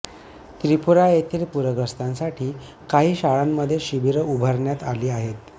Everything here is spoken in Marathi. त्रिपुरा येथेही पूरग्रस्तांसाठी काही शाळांमध्ये शिबीरं उभारण्यात आली आहेत